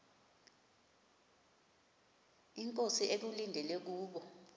inkosi ekulindele kubo